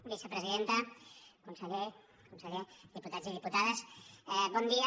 vicepresidenta conseller conseller diputats i diputades bon dia